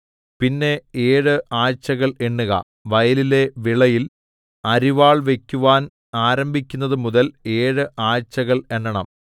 പിന്നെ ഏഴ് ആഴ്ചകൾ എണ്ണുക വയലിലെ വിളയിൽ അരിവാൾ വയ്ക്കുവാൻ ആരംഭിക്കുന്നതു മുതൽ ഏഴ് ആഴ്ചകൾ എണ്ണണം